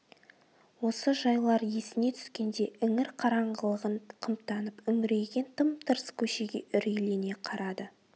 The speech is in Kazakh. осы жайлар есіне түскенде іңір қараңғылығын қымтанып үңірейген тым-тырыс көшеге үрейлене қарады